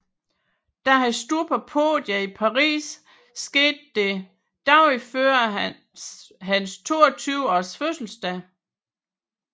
Da han stod på podiet i Paris skete det dagen før sin 22 års fødselsdag